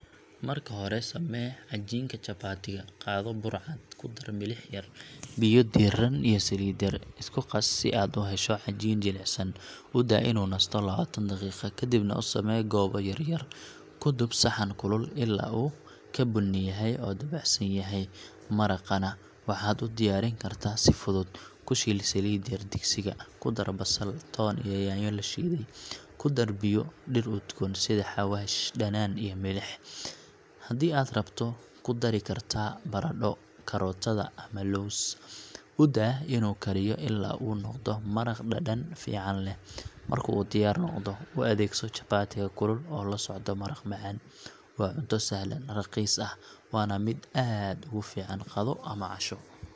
Marka hore samee cajiinka chapati-ga. Qaado bur cad, ku dar milix yar, biyo diirran iyo saliid yar. Isku qas si aad u hesho cajiin jilicsan. U daa inuu nasto lawatan daqiiqo, kadibna u samee goobo yaryar. Ku dub saxan kulul ilaa uu ka bunniyahay oo dabacsan yahay. Maraqana waxaad u diyaarin kartaa si fudud. Ku shiil saliid yar digsiga, ku dar basal, toon, iyo yaanyo la shiiday. Ku dar biyo, dhir udgoon sida xawaash, dhanaan iyo milix. Haddii aad rabto, ku dari kartaa baradho, karootada ama lows. U daa inuu kariyo ilaa uu noqdo maraq dhadhan fiican leh. Marka uu diyaar noqdo, u adeegso chapati-ga kulul oo la socdo maraq macaan. Waa cunto sahlan, raqiis ah, waana mid aad ugu fiican qado ama casho.